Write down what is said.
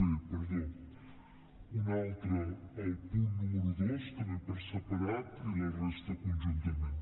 b un altre el punt número dos també per separat i la resta conjuntament